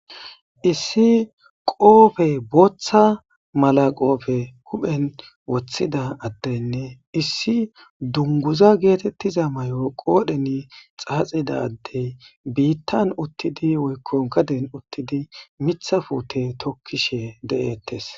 issi qoofe booththa mala qoofe huphen woththida addenne issi dunguza geetettiza mayoo qoodheni xaaxidaddey biittan uttidi woykko gaden uttidi mitha fuute tokkishe de'ettes